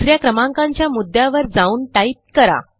दुस या क्रमांकाच्या मुद्यावर जाऊन टाईप करा